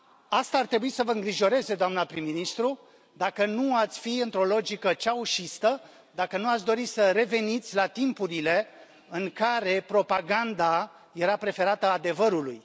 Asta ar trebui să vă îngrijoreze, doamnă prim ministru, dacă nu ați fi într o logică ceaușistă, dacă nu ați dori să reveniți la timpurile în care propaganda era preferată adevărului.